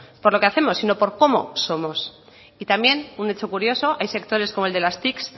por lo que hacemos sino por cómo somos y también un hecho curioso hay sectores como el de las tic